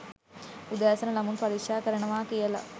උදෑසන ළමුන් පරික්ෂා කරනවා කියලා